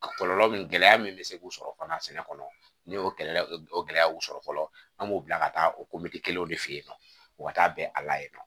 Kɔlɔlɔ min gɛlɛya min bɛ se k'u sɔrɔ fana sɛnɛ kɔnɔ ni o gɛlɛya o gɛlɛya y'u sɔrɔ fɔlɔ an b'o bila ka taa o kelenw de fɛ yen nɔ u ka taa bɛn a la yen nɔ